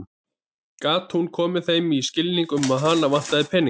Hvernig gat hún komið þeim í skilning um að hana vantaði peninga?